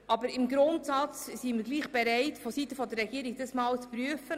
Aber grundsätzlich sind wir seitens der Regierung bereit, das Ganze einmal zu prüfen.